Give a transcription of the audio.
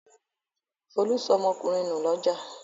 Folú sọ ọmọkùnrin nù lọ́jà.